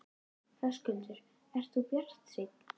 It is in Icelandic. Höskuldur: Ert þú bjartsýn?